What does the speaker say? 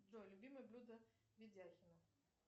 джой любимое блюдо ведяхина